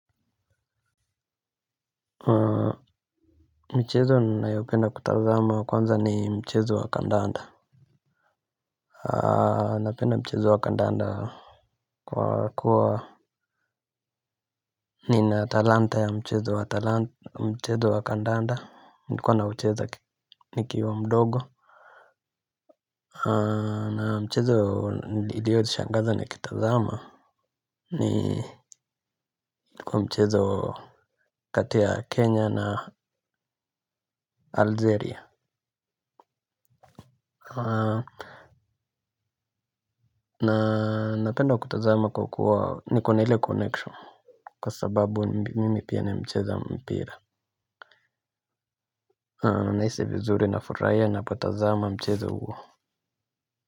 Michezo ninayopenda kutazama wa kwanza ni Mchezo Wa kandanda. Napenda Mchezo Wa kandanda. Kwa kuwa nina talanta ya Mchezo Wa kandanda nilikuwa naucheza nikiwa mdogo. Na mchezo ilionishangaza nikitazama. Ni kwa mchezo kati ya Kenya na Algeria. Na napenda kutazama kwa kuwa niko na ile connection. Kwa sababu mimi pia ni mcheza mpira. Naisi vizuri nafuraia ninapotazama mchezo uo.